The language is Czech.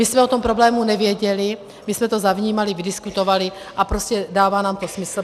My jsme o tom problému nevěděli, my jsme to zavnímali, vydiskutovali a prostě dává nám to smysl.